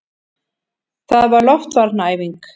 Það var loftvarnaæfing!